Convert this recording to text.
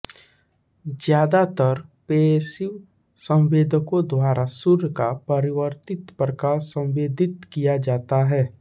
ज्यादातर पैसिव संवेदकों द्वारा सूर्य का परावर्तित प्रकाश संवेदित किया जाता है